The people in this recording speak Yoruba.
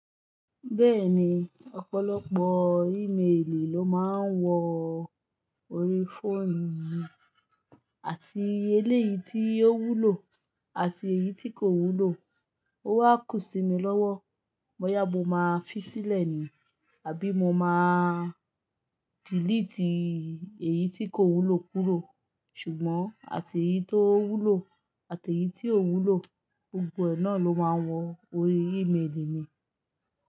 Bẹ́ẹ̀ni, ọ̀pọ̀lọpọ̀ íméèlì ló máa ń wọ orí fóònù mi, àti eléyìí tí ó wúlò àti èyí tí kò wúlò. Ó wá kù sí mi lọ́wọ́, bo yá mo máa fi sílẹ̀ ni, àbí mo máa dìliítì èyí tí kò wúlò kúrò. Ṣùgbọ́n, àti èyí tó wúlò àti èyí tí ò wúlò, gbogbo ẹ̀ náà ló máa wọ orí íméèlì mi.